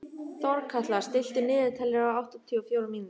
Þorkatla, stilltu niðurteljara á áttatíu og fjórar mínútur.